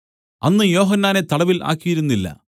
അന്ന് യോഹന്നാനെ തടവിൽ ആക്കിയിരുന്നില്ല